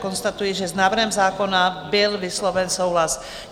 Konstatuji, že s návrhem zákona byl vysloven souhlas.